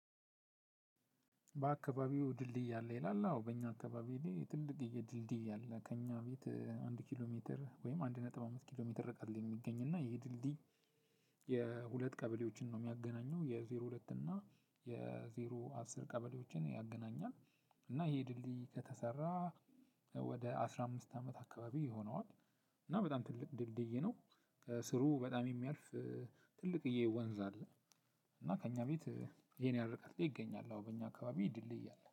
"በአካባቢዎ ድልድይ አለ?" ይላል አዎ በእኛ አካባቢ ላይ ትልቅዬ ድልድይ አለ ከእኛ ቤት አንድ ኪሎ ሜትር ወይም አንድ ነጥብ አምስት ኪሎ ሜትር ርቀት ላይ የሚገኝ እና ይሄ ድልድይ የሁለት ቀበሌዎችን ነው የሚያገናኘው። የዜሮ ሁለት እና የዜሮ አስር ቀበሌዎችን ያገናኛል። እና ይሄ ድልድይ ከተሰራ ወደ አስራ አምስት አመት አካባቢ ይሆነዋል። እና በጣም ትልቅ ድልድይ ነው። ከስሩ በጣም የሚያልፍ ትልቅዬ ወንዝ አለ። እና ከእኛ ቤት ይሄን ያህል ርቀት ላይ ይገኛል አዎ በእኛ አካባቢ ድልድይ አለ።